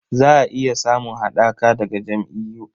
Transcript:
Za a iya samun haɗaka daga jam'iyyu..